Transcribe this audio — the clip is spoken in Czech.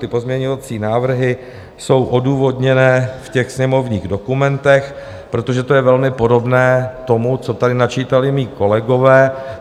Ty pozměňovací návrhy jsou odůvodněné v těch sněmovních dokumentech, protože to je velmi podobné tomu, co tady načítali mí kolegové.